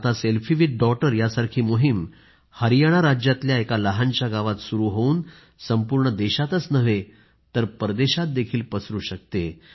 आता selfie with डॉटरसारखी मोहीम हरियाणा राज्यातल्या एका लहानशा गावात सुरू होवून संपूर्ण देशातच नाही तर परदेशातही पसरू शकते